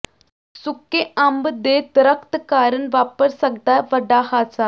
ਸੁੱਕੇ ਅੰਬ ਦੇ ਦਰੱਖਤ ਕਾਰਨ ਵਾਪਰ ਸਕਦੈ ਵੱਡਾ ਹਾਦਸਾ